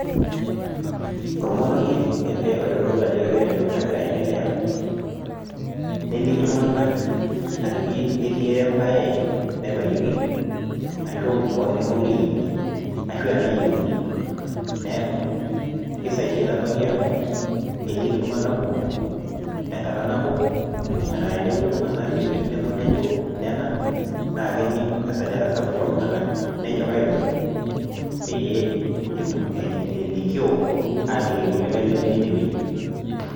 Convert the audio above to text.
ormonikie ele oitodolu ajo keeta entoki nagira aentelea , neliki iltung'anak ajoki ketii ebaye naibayioki, ashu neme okure eyieuni, ashu enayieuni, neeku kisaidia enatoki amu eliki iltung'anak kumok, enkata nabo enaa tenepuku iltung'anak teweji nebo nejo nena , naa kening' esajata sapuk ooltung'anak nonyoraa aibung' pee elikioo aaliki kulikae lemetii ine weji.